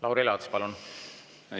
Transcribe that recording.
Lauri Laats, palun!